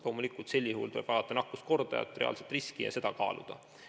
Loomulikult tuleb vaadata nakkuskordajat, reaalset riski ja seda kaaluda.